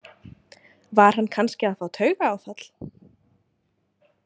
Var hann kannski að fá taugaáfall?